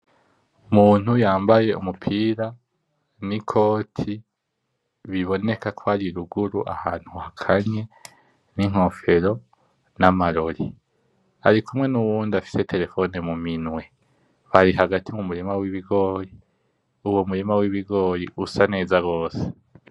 Umuntu yambaye umupira n'ikoti, biboneka ko ari ruguru ahantu hakanye, n'inkofero, n'amarori, arikumwe nuwundi afise telefone mu minwe ari hagati mu murima w'ibigori, uwo murima w'ibigori usa neza rwose.